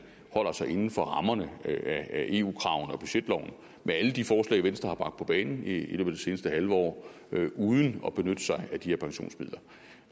holder sig inden for rammerne af eu kravene og budgetloven med alle de forslag venstre har bragt på banen i det seneste halve år uden at benytte sig af de her pensionsmidler